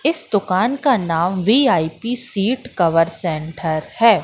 इस दुकान का नाम वी_आई_पी सीट कवर सेंटर है।